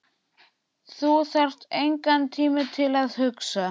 Þú þarft engan tíma til að hugsa.